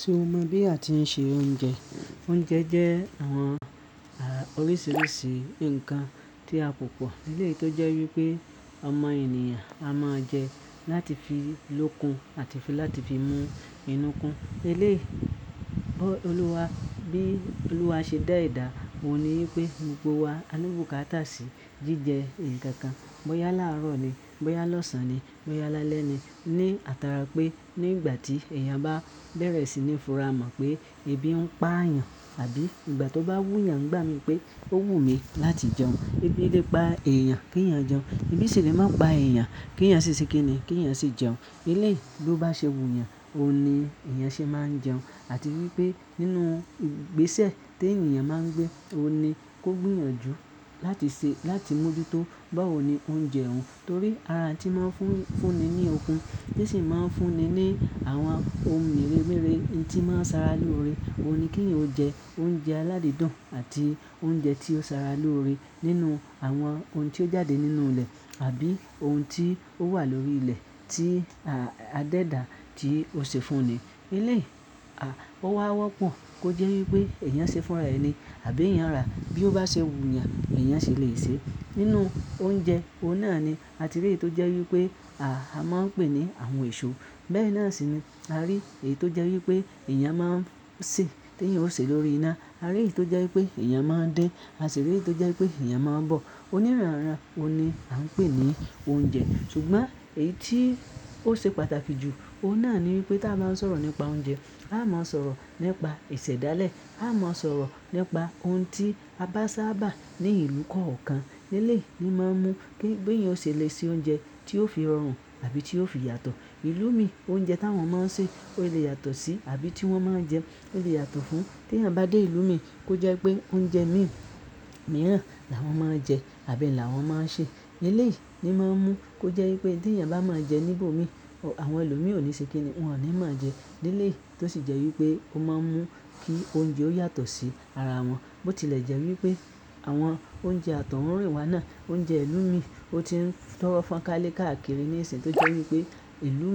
Ṣé o mọ bí a ti ń se oúnjẹ? Oúnjẹ jẹ́ àwọn oríṣiríṣi ǹkan tí a pọ̀pọ̀. Eléyi tó jẹ́ wípé ọmọ ènìyàn a máa jẹ láti fi lókun àti láti fi mú inú kun. Eléèí, bí Olúwa ṣe dá edà, òun ni wípé gbogbo wa, a ní bùkátà sí jíjẹ ǹkan kan. Bóyá láàárọ̀ ni, bóyá lọ́sàn ni, bóyá lálẹ́ ni. Ni átara pé nígbà tí èèyàn bá bẹ̀rẹ̀ sí ní fura mọ̀ pé ebi ń pa àyàn àbí ìgbà tó bá wú yàn n gba mi pé ó wù mí láti jẹun. Ebi lè pa èèyàn kí èèyàn jẹun, ibi sì lè má pa èèyàn kí èèyàn ṣi se kíni kí èèyàn sì jẹun. Eléèí, bí ó bá ṣe wú yàn, òun ni èèyàn ṣe máa ń jẹun. Àti wípé nínú ìgbésẹ̀ tí èèyàn máa ń gbé, òun ni kó gbìyànjú láti ṣe, láti mọ ju tó bawo ni òun jẹun. Torí ara tí ń máa ń fún ni ní okun, tí sì máa ń fún ni ní àwọn ohun méré méré n tí máa ń sara lóore. Òun ni kí eyan jẹ oúnjẹ aládìídùn àti oúnjẹ tí ó sara lóore. Nínú àwọn ohun tí ó jáde nínú ilẹ̀ àbí ohun tí ó wà lórí ilẹ̀ tí a dẹ́dà tí ó ṣe fún ni. Eléèí, ó wá wọ́pọ̀ kó jẹ́ wípé èèyàn ṣe fúnra ẹni àbí èèyàn rà. Bí ó bá ṣe wú yàn, lè èyàn sì lè ṣe. Nínú oúnjẹ, òun náà ni a ti rí eyi tó jẹ́ wípé àá máa ń pè ní àwọn èso. Bẹ́ẹ̀ náà sì ni a rí èyí tó jẹ́ wípé èèyàn máa ń sè, tí èèyàn ó sè lórí iná. A rí èyí tó jẹ́ wípé èèyàn máa ń dín. A sì rí èyí tó jẹ́ wípé èèyàn máa ń bọ̀. Onírànran òun ni a ń pè ní oúnjẹ. Ṣùgbọ́n èyí tí ó ṣe pàtàkì jù, òun náà ni wípé tí a bá ń sọ̀rọ̀ nípa oúnjẹ, a máa ń sọ̀rọ̀ nípa isẹ̀ dálẹ̀, a máa ń sọ̀rọ̀ nípa ohun tí a bá sábà ní ìlú kọ̀ọ̀kan. Eléèyí ni máa ń mú kí èèyàn ó ṣe le ṣe oúnjẹ tí ó fi rọrùn àbí tí ó fi yàtọ̀. Ìlú mi, oúnjẹ tí àwọn máa ń sè ó lè yàtọ̀ sí, àbí tí wọ́n máa ń jẹun ó lè yàtọ̀ fún. Tí èèyàn bá dé ìlú mi kó jẹ́ pé oúnjẹ mìíràn làwọn máa ń jẹ àbí làwọn máa ń sè. Eléèyí ni máa ń mú kó jẹ́ wípé tí èèyàn bá máa ń jẹ níbò mi, àwọn ẹlòmíràn ó ní se kíni wọn ò ní mo n jẹ. Eléèyí tó sì jẹ́ wípé ó máa ń mú kí oúnjẹ ó yàtọ̀ sí ara wọn. Bó tilẹ̀ jẹ́ wípé àwọn oúnjẹ àtọ̀húnrìnwá náà, oúnjẹ ìlú mi ó ti ń tọ́rọ́ fọ́n káálé káàkiri ní ìsìn tó jẹ́ wípé ìlú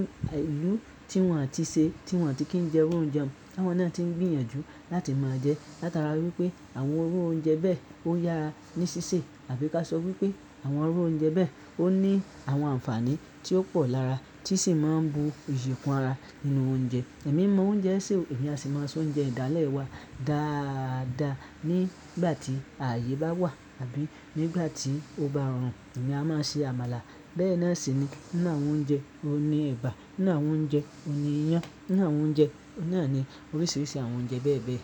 tí wọ́n ti ṣe, tí wọ́n ti kí ń jẹ iru oúnjẹ ta wọn náà ti ń gbìyànjú láti máa jẹ. Látara wípé àwọn owó oúnjẹ bẹ́ẹ̀ ó yára ní ṣíṣe àbí ká sọ wípé àwọn iru oúnjẹ bẹ́ẹ̀ ó ní àwọn àǹfààní tí ó pọ̀ lára tí sì máa ń bu ìyi kun ara nínú oúnjẹ. Ẹ̀mí mo oúnjẹ sè, èmi a sì máa so oúnjẹ ìdálẹ̀ wa dáadáa nígbà tí ààyè bá wà àbí nígbà tí ó bá rọrùn. Èmi a máa ṣe àmàlà. Bẹ́ẹ̀ náà sì ni ninu awoń oúnjẹ ẹ̀bà, ninu awoń jẹun oúnjẹ iyán, nińu awon oúnjẹ náà ni oríṣiríṣi àwọn oúnjẹ bẹ́ẹ̀ bẹ́ẹ̀.